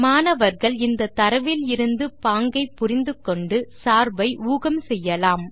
மாணவர்கள் இந்த தரவிலிருந்து பாங்கை புரிந்து கொண்டு சார்பை ஊகம் செய்யலாம்